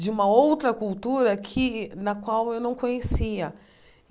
de uma outra cultura que na qual eu não conhecia.